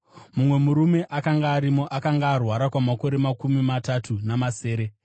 Mumwe murume akanga arimo akanga arwara kwamakore makumi matatu namasere.